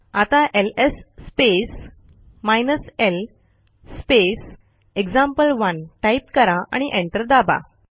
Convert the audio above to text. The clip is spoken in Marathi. आता LS space hyphen L space example one type करा आणि एंटर दाबा